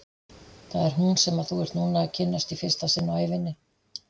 Það er hún sem þú ert núna að kynnast í fyrsta sinn á ævinni.